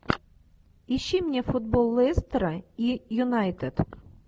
ищи мне футбол лестера и юнайтед